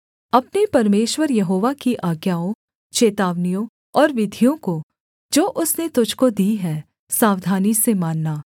अपने परमेश्वर यहोवा की आज्ञाओं चेतावनियों और विधियों को जो उसने तुझको दी हैं सावधानी से मानना